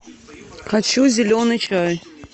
хочу зеленый чай